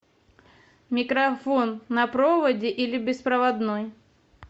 микрофон на проводе или беспроводной